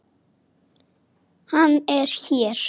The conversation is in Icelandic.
Hann er hér.